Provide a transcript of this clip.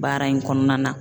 Baara in kɔnɔna na.